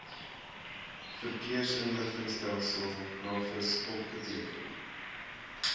verkeersinligtingstelsel navis opgeteken